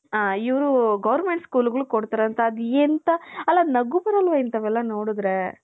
ಹ ಇವರು goverment school ಗಳಿಗ್ ಕೊಡ್ತಾರೆ ಅದ್ ಎಂತ ನಗು ಬರಲ್ವ ಇನ್ಥವ್ ಎಲ್ಲಾ ನೋಡದ್ರೆ .